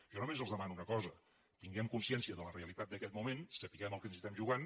jo només els demano una cosa tinguem consciència de la realitat d’aquest moment sapiguem el que ens hi estem jugant